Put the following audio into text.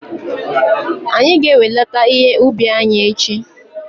Anyị ga-enwelata ihe ubi anyị echi